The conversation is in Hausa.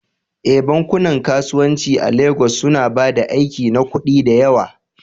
Eh, bankunan kasuwanci a Legas suna ba da aiki na kuɗi da yawa